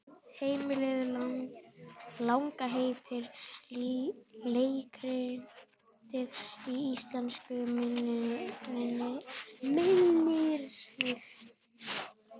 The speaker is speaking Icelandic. Heimleiðin langa heitir leikritið á íslensku, minnir mig.